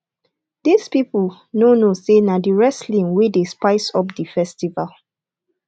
dis people no know say na the wresting wey dey spice up the festival